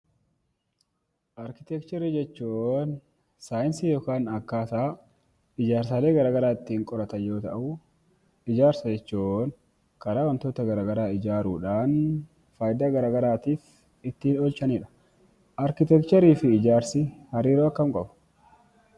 Arkiteekcharii jechuun saayinsii yookaan akkaataa ijaarsaalee gara garaa ittiin qoratan yoo ta'u, Ijaarsa jechuun karaa wantoota gara garaa ijaaruudhaan faayidaa gara garaatiif ittiin oolchanidha. Arkiteekcharii fi ijaarsi hariiroo akkamii qabu?